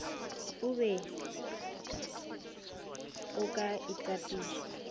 o be o ka itapiša